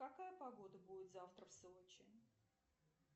какая погода будет завтра в сочи